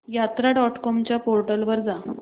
यात्रा dot com च्या portal वर जा